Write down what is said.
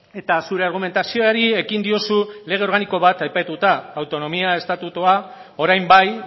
eta zure argumentazioari ekin diozu lege organiko bat aipatuta autonomia estatutua orain bai